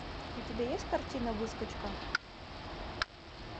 у тебя есть картина выскочка